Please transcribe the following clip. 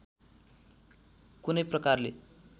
कुनै प्रकारले